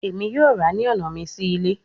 Emi yoo ra ni ọna mi si ile